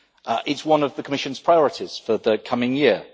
It is one of the Commission's priorities for the coming year.